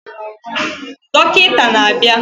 Dọkịta na-abịa